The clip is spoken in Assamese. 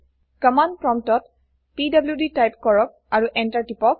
কম্মান্দপ্ৰম্পটত পিডিডি টাইপ কৰক আৰু এন্টাৰ টিপক